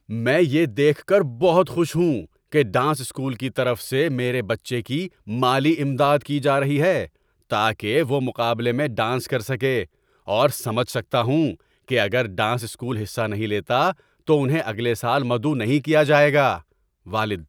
میں یہ دیکھ کر بہت خوش ہوں کہ ڈانس اسکول کی طرف سے میرے بچے کی مالی امداد کی جا رہی ہے تاکہ وہ مقابلے میں ڈانس کر سکے اور سمجھ سکتا ہوں کہ اگر ڈانس اسکول حصہ نہیں لیتا تو انہیں اگلے سال مدعو نہیں کیا جائے گا۔ (والد)